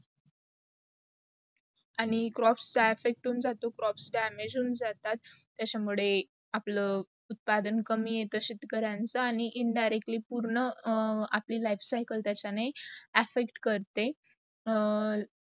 crops